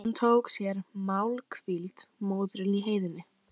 Hún tók sér málhvíld, móðirin í heiðinni.